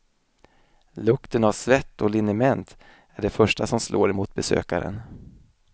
Lukten av svett och liniment är det första som slår emot besökaren.